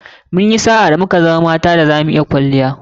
Munyi sa'a da muka zama mata da zamu iya sa [kwalliya]